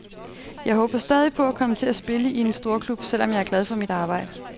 Jeg håber stadig på at komme til at spille i en storklub, selv om jeg er glad for mit arbejde.